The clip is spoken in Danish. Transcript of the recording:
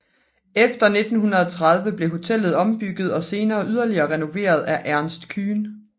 Efter 1930 blev hotellet ombygget og senere yderligere renoveret ved Ernst Kühn